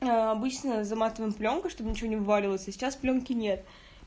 обычно заматываем плёнкой чтобы ничего не вываливалось а сейчас плёнки нет